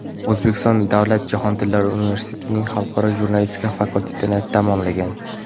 O‘zbekiston davlat jahon tillari universitetining Xalqaro jurnalistika fakultetini tamomlagan.